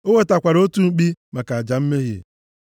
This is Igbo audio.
O wetakwara otu mkpi maka aja mmehie,